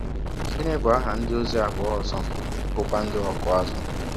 Gịnị bụ aha ndịozi abụọ ọzọ bụ́kwa ndị ọkụ azụ̀?